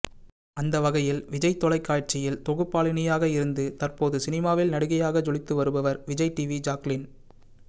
அந்த வகையில் விஜய் தொலைக்காட்சியில் தொகுப்பாளினியாக இருந்து தற்போது சினிமாவில் நடிகையாக ஜொலித்து வருபவர் விஜய் டிவி ஜாக்லின்